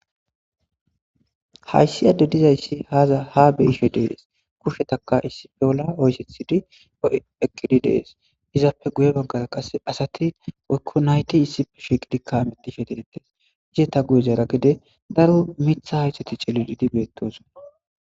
hayisi ade dizayisi haa beyishe desi kushetakka issi bolla oyisethidi eqidi deyesi izappe guye baggara assat woyiko nayiti shiqidika hamutishe detesi izata guyera gizin darro mitha hatithati cikidi betosona